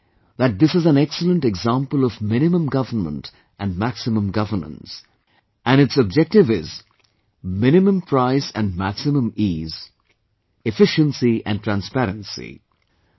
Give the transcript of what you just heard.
I believe that this is an excellent example of Minimum Government and Maximum Governance, and it's objective is Minimum Price and Maximum Ease, Efficiency and Transparency